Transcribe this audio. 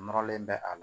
Nɔrɔlen bɛ a la